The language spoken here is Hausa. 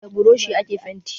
Da buroshi ake fenti